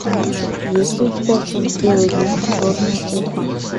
есть ли у тебя фильм белый бим черное ухо